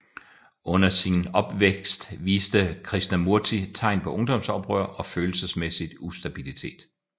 Under sin opvækst viste Krishnamurti tegn på ungdomsoprør og følelsesmæssig ustabilitet